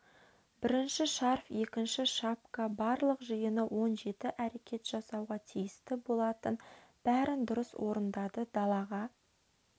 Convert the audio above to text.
бірінші шарф екінші шапка барлық жиыны он жеті әрекет жасауға тиісті болатын бәрін дұрыс орындады далаға